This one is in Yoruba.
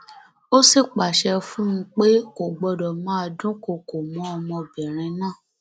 ó sì pàṣẹ fún un pé kò gbọdọ máa dúnkookò mọ ọmọbìnrin náà